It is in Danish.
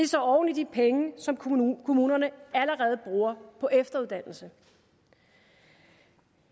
så oven i de penge som kommunerne kommunerne allerede bruger på efteruddannelse